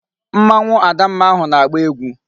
Mmanwu Adamma ahu na-agba egwu